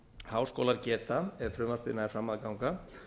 háskólar geta ef frumvarpið nær fram að ganga